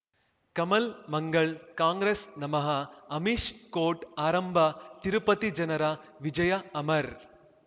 ಕಮಲ್ ಮಂಗಳ್ ಕಾಂಗ್ರೆಸ್ ನಮಃ ಅಮಿಷ್ ಕೋರ್ಟ್ ಆರಂಭ ತಿರುಪತಿ ಜನರ ವಿಜಯ ಅಮರ್